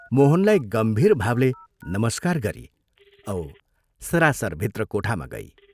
मोहनलाई गम्भीरभावले नमस्कार गरी औ सरासर भित्र कोठामा गई।